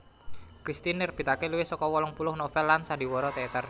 Christie nerbitake luwih saka wolung puluh novel lan sandhiwara teater